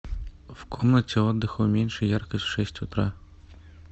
в комнате отдыха уменьши яркость в шесть утра